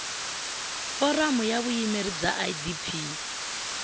foramu ya vuyimeri bya idp